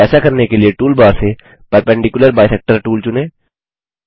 ऐसा करने के लिए टूलबार से परपेंडिकुलर बाइसेक्टर टूल चुनें